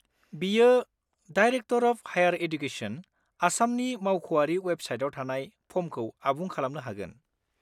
बियो director of higher education, आसामनि मावख'आरि वेबसाइटाव थानाय फर्मखौ आबुं खालामनो हागोन।